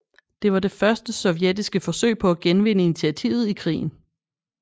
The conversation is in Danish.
Det var det første sovjetiske forsøg på at genvinde initiativet i krigen